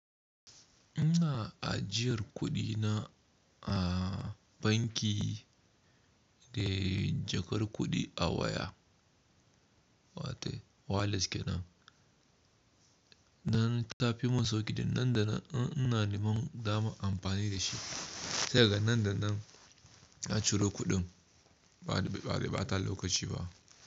Ina ajiyar kuɗi na a banki da jakar kuɗi a waya, wato wallets ke nan. Nan ta fi mun sauƙi da nan da nan ina neman dama amfani da shi. Sai daga nan da nan a ciro kuɗin ba, bai bata lokaci ba.